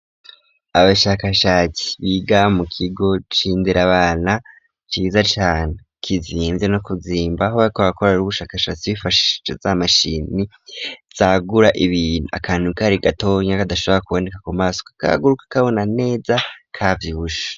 Abashakashatsi biga mu kigo cindera abana ciza cane kizinvye no kuzimba aho bakorera ubushakashatsi bifashishije z'amashini zagura ibintu akantu kari gatonya kadashobora kuboneka kumaso kakaguka ukakabona neza kavyibushe.